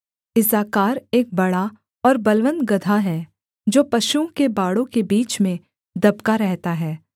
इस्साकार एक बड़ा और बलवन्त गदहा है जो पशुओं के बाड़ों के बीच में दबका रहता है